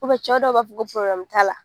Kɔfɛ cɛ dɔw b'a fɔ ko t'a la.